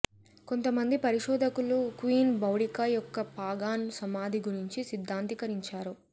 కొంతమంది పరిశోధకులు queen Boudica యొక్క పాగాన్ సమాధి గురించి సిద్ధాంతీకరించారు